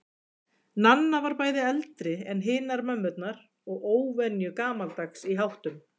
Nanna var bæði eldri en hinar mömmurnar og óvenju gamaldags í háttum.